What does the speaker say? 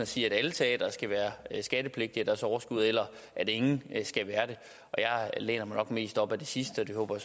sige at alle teatre skal være skattepligtige af deres overskud eller at ingen skal være det jeg læner mig nok mest op af det sidste og det håber